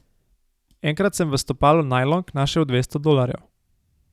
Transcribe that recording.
Enkrat sem v stopalu najlonk našel dvesto dolarjev.